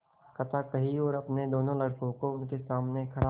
कथा कही और अपने दोनों लड़कों को उनके सामने खड़ा